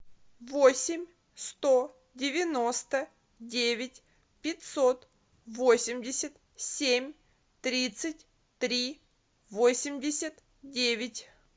восемь сто девяносто девять пятьсот восемьдесят семь тридцать три восемьдесят девять